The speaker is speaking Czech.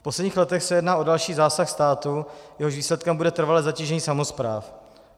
V posledních letech se jedná o další zásah státu, jehož výsledkem bude trvalé zatížení samospráv.